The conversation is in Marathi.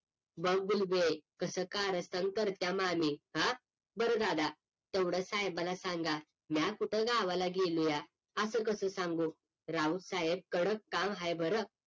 बघ कसं कारस्थान करता मामी हा बरं दादा तेवढ साहेबांना सांगा म्या कुठ गावाला गेलोया असं कस सांगू राऊत साहेब कडक ताण आहे बर